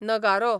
नगारो